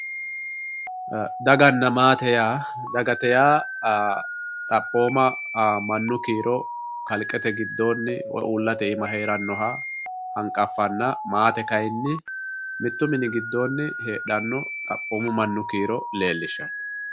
Dagana Maate yaa, dagate yaa xaphoma mannu kiiro kalqete giddonni woyi uullate iima heeranoha hanqafanna maate kayinni mitu mini giddooni heedhano xaphomu mannu kiiro leelishano.